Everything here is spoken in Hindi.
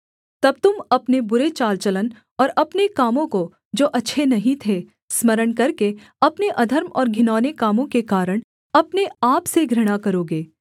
तब तुम अपने बुरे चाल चलन और अपने कामों को जो अच्छे नहीं थे स्मरण करके अपने अधर्म और घिनौने कामों के कारण अपने आप से घृणा करोगे